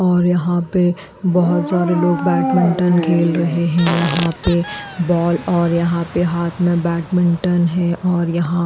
और यहाँ पे बहोत सारे लोग बैडमिंटन खेल रहे हैं यहाँ पे बॉल और यहाँ पे हाथ में बैडमिंटन है और यहाँ --